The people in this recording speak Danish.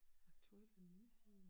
Aktuelle nyheder